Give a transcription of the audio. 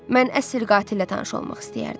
Mən əsl qatillə tanış olmaq istəyərdim.